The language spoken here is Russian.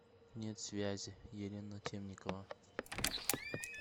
нет связи елена темникова